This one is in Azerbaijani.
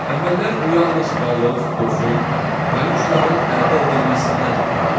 Əvvəllər bu yalnız balıq, yosun, molyuskusların əldə edilməsindən ibarət idi.